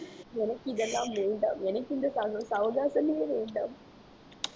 எனக்கு இதெல்லாம் வேண்டாம் எனக்கு இந்த சவ~ சவகாசமே வேண்டாம்